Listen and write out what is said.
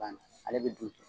A bana ale bi dun ten